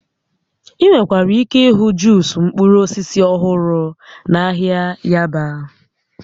Ị nwekwara ike ịhụ Juus mkpụrụ osisi ọhụrụ na ahịa Yaba